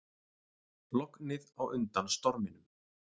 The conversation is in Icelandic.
Lognið á undan storminum